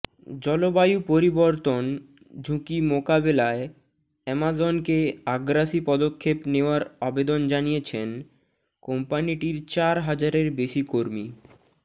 জলবায়ু পরিবর্তন ঝুঁকি মোকাবেলায় অ্যামাজনকে আগ্রাসী পদক্ষেপ নেওয়ার আবেদন জানিয়েছেন কম্পানিটির চার হাজারের বেশি কর্মী